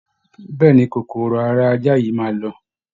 Bẹ́ẹ̀ ni, kòkòrò ara ajá yìí máa lọ